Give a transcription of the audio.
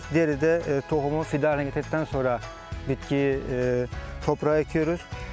Diyeri də toxumu fide ettikdən sonra bitkiyi torpağı əküyuz.